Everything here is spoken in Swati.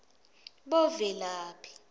bovelaphi